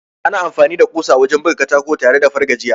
Ana amfani da kusa wajen buga katako tare ko a fargajiya.